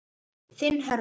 Þinn Hörður.